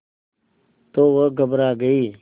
तो वह घबरा गई